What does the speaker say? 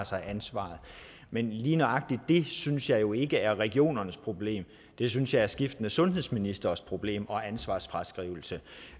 sig ansvaret men lige nøjagtig det synes jeg jo ikke er regionernes problem det synes jeg er skiftende sundhedsministres problem og ansvarsfraskrivelse